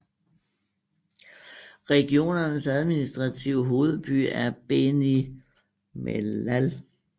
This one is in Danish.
Regionens administrative hovedby er Béni Mellal